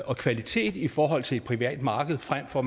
og kvalitet i forhold til et privat marked frem for